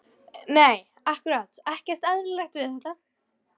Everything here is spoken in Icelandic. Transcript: Nei ákkúrat ekkert eðlilegt við þetta.